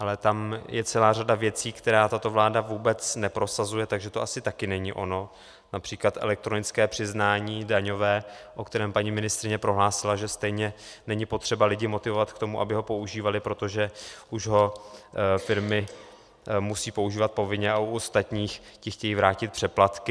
Ale tam je celá řada věcí, které tato vláda vůbec neprosazuje, takže to asi také není ono, například elektronické přiznání daňové, o kterém paní ministryně prohlásila, že stejně není potřeba lidi motivovat k tomu, aby ho používali, protože už ho firmy musí používat povinně a u ostatních - ti chtějí vrátit přeplatky.